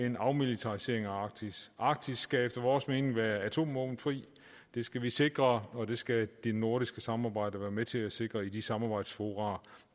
en afmilitarisering af arktis arktis skal efter vores mening være atomvåbenfri det skal vi sikre og det skal det nordiske samarbejde være med til at sikre i de samarbejdsfora